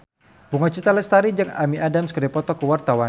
Bunga Citra Lestari jeung Amy Adams keur dipoto ku wartawan